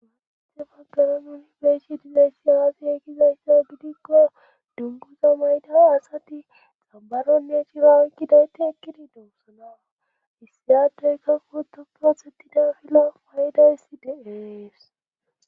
Malithe fagara nunibeeshi dileyssi aafi e gizayssa gidikko dunguza mayda asati xabaronne cira gidayti ekkidi duosanawa issiyadeykka kota prothetida fila paydayssi deees